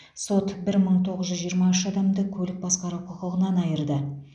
сот бір мың тоғыз жүз жиырма үш адамды көлік басқару құқығынан айырды